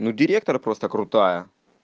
ну директор просто крутая